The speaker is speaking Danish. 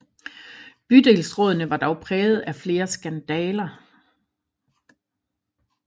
Bydelsrådene var dog præget af flere skandaler